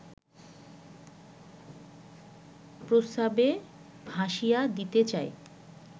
প্রস্রাবে ভাসিয়ে দিতে চায়